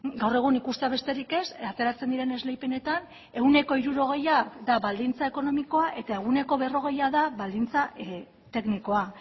gaur egun ikustea besterik ez ateratzen diren esleipenetan ehuneko hirurogeia da baldintza ekonomikoa eta ehuneko berrogeia da baldintza teknikoa